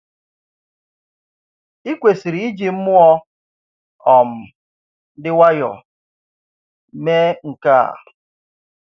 Ị̀ kwesịrị iji mmụọ um dị nwayọ̀ mee nke a.